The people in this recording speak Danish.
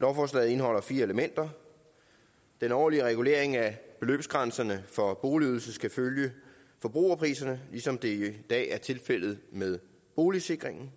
lovforslaget indeholder fire elementer den årlige regulering af beløbsgrænserne for boligydelse skal følge forbrugerpriserne ligesom det i dag er tilfældet med boligsikringen